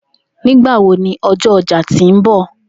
Nigbawo ni ọjọ ọja ti nbọ?